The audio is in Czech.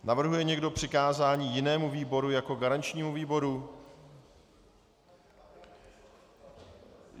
Navrhuje někdo přikázání jinému výboru jako garančnímu výboru?